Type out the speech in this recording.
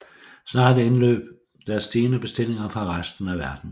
Snart indløb der stigende bestillinger fra resten af verden